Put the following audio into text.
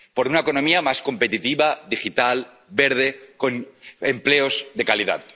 por una economía más competitiva, digital, verde, con empleos de calidad